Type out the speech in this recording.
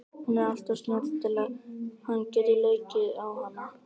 Hún er alltof snjöll til að hann geti leikið á hana.